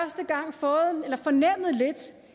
for